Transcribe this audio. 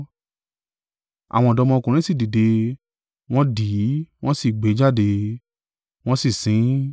Àwọn ọ̀dọ́mọkùnrin sí dìde, wọ́n dì í, wọn sì gbé è jáde, wọn sì sin ín.